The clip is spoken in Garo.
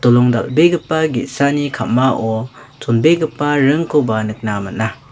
dolong dal·begipa gesani ka·mao chonbegipa ringkoba nikna man·a.